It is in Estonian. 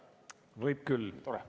Võib küll.